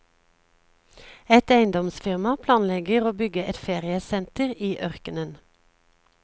Et eiendomsfirma planlegger å bygge et feriesenter i ørkenen.